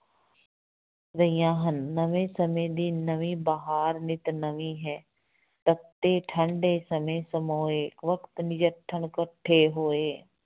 ਰਹੀਆਂ ਹਨ, ਨਵੇਂ ਸਮੇਂ ਦੀ ਨਵੇਂ ਬਹਾਰ ਨਿੱਤ ਨਵੀਂ ਹੈ, ਤੱਤੇ ਠੰਢੇ ਸਮੇਂ ਸਮੋਏ, ਵਕਤ ਨਜਿੱਠਣ ਕੱਠੇ ਹੋਏ,